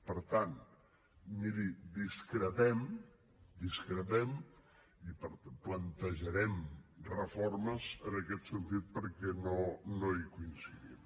per tant miri discrepem discrepem i plantejarem reformes en aquest sentit perquè no hi coincidim